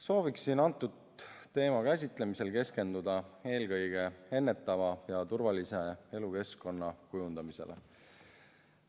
Soovin antud teema käsitlemisel keskenduda eelkõige ennetava ja turvalise elukeskkonna kujundamisele.